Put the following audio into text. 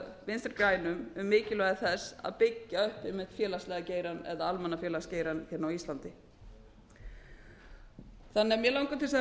vinstri grænum um mikilvægi þess að byggja upp einmitt félagslega geirann eða almannafélagsgeirann hér á íslandi þannig að mig langar til þess að